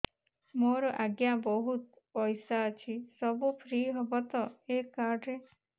ମୋର ଆଜ୍ଞା ବହୁତ ପଇସା ଅଛି ସବୁ ଫ୍ରି ହବ ତ ଏ କାର୍ଡ ରେ